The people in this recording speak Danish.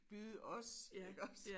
Byde os iggås